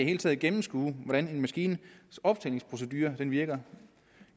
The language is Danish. hele taget gennemskue hvordan en maskines optællingsprocedure virker